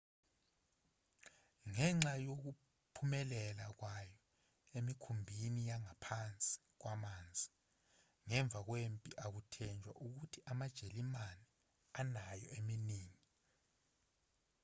ngenxa yokuphumelela kwawo emikhumbini yangaphansi kwamanzi ngemva kwempi akuthenjwa ukuthi amajalimane anayo eminingi